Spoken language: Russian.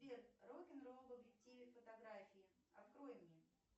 сбер рок н ролл в объективе фотографии открой мне